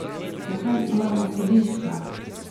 Zakaj imamo sodišča?